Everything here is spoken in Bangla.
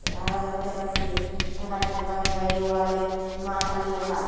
আরো দেখতে পারসি যে এখানে দোকানের বাইরে ওয়ালে মা কালী লেখা আসে।